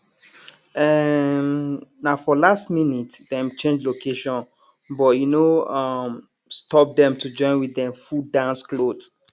um na for last minute dem change location but e no um stop dem to join with dem full dance cloth